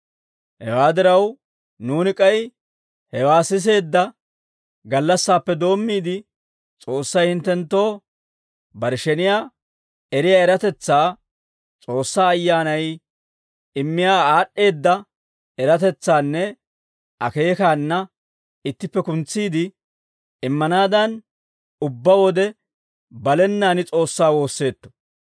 Hewaa diraw, nuuni k'ay hewaa siseedda gallassaappe doommiide, S'oossay hinttenttoo bare sheniyaa eriyaa eratetsaa, S'oossaa Ayyaanay immiyaa aad'd'eedda eratetsaannanne akeekaana ittippe kuntsiide immanaadan, ubbaa wode balenaan S'oossaa woosseetto.